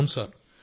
అవును సార్